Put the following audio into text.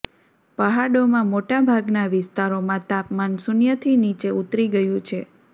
પહાડોમાં મોટા ભાગના વિસ્તારોમાં તાપમાન શૂન્યથી નીચે ઉતરી ગયું છે